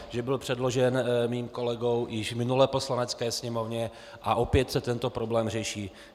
Že byl předložen mým kolegou již v minulé Poslanecké sněmovně a opět se tento problém řeší.